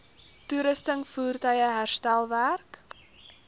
toerusting voertuie herstelwerk